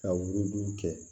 Ka wugudugu kɛ